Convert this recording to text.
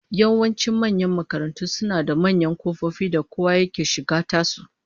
Yawancin manyan makarantu suna da manyan kofofi da kowa yake shiga tasu